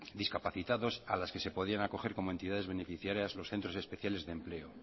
discapacitados a las que se podían acoger como entidades beneficiarias los centro especiales de empleo